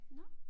Nåh